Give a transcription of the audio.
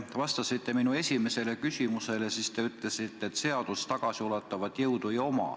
Kui te vastasite minu esimesele küsimusele, siis te ütlesite, et seadus tagasiulatuvat jõudu ei oma.